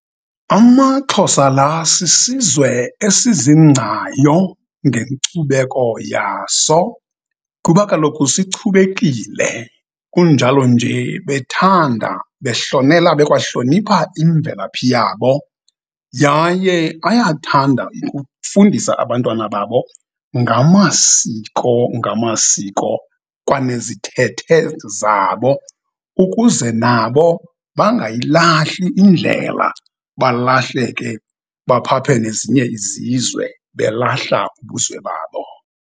AmaXhosa la sisizwe esizingcayo ngenkcubeko yaso kuba kaloku sichubekile. kunjalo nje bethanda behlonela bekwahlonipha imvelaphi yabo. Yaye ayathanda ukufundisa abantwana babo ngamasiko ngamasiko kwanezithethe zabo ukuze nabo bangayilahli indlela balahleke baphaphe nezinye izizwe belahla ubuzwe babo.